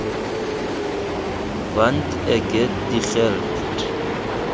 want ek het die geld